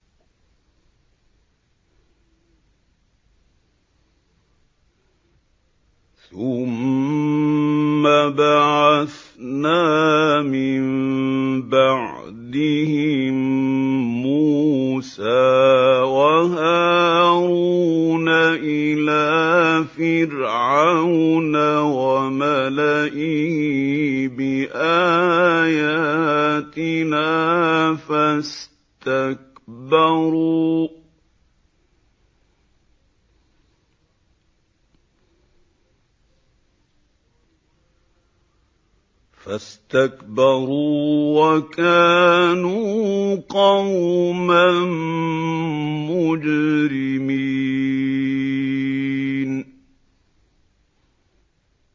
ثُمَّ بَعَثْنَا مِن بَعْدِهِم مُّوسَىٰ وَهَارُونَ إِلَىٰ فِرْعَوْنَ وَمَلَئِهِ بِآيَاتِنَا فَاسْتَكْبَرُوا وَكَانُوا قَوْمًا مُّجْرِمِينَ